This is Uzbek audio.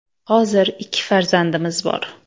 Hozir ikki farzandimiz bor.